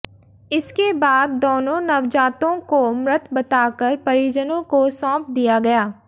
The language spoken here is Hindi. इसके बाद दोनों नवजातों को मृत बताकर परिजनों को सौंप दिया गया